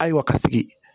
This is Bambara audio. Ayiwa ka sigi